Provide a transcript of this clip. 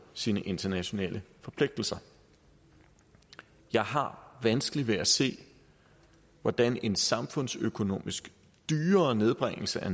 sine internationale forpligtelser jeg har vanskeligt ved at se hvordan en samfundsøkonomisk dyrere nedbringelse af